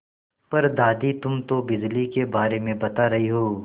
पर दादी तुम तो बिजली के बारे में बता रही हो